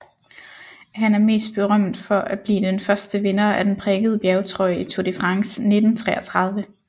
Han er mest berømt for at blive den første vinder af den prikkede bjergtrøje i Tour de France 1933